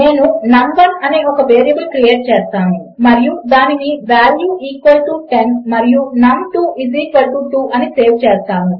నేను నమ్1 అనే ఒక వేరియబుల్ క్రియేట్ చేస్తాను మరియు దానిని వాల్యూ ఈక్వల్ టియు 10 మరియు నమ్2 ఐఎస్ ఈక్వల్ టో 2 అని సేవ్ చేస్తాను